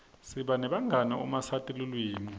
siba nebangani uma sati tilwimi